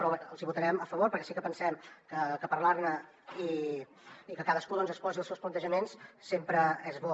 però els hi votarem a favor perquè sí que pensem que parlar ne i que cadascú exposi els seus plantejaments sempre és bo